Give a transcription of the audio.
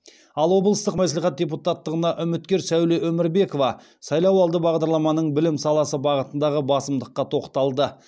ал облыстық мәслихат депутаттығына үміткер сәуле өмірбекова сайлауалды бағдарламаның білім саласы бағытындағы басымдыққа тоқталды